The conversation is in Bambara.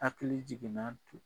Hakili jigina tu